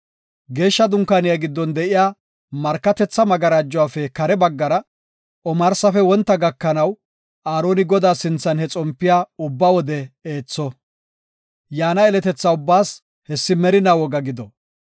Geeshsha Dunkaaniya giddon de7iya markatetha magarajuwafe kare baggara omarsafe wonta gakanaw Aaroni Godaa sinthan he xompiya ubba wode eetho. Yaana yeletetha ubbaas hessi merinaa woga gido.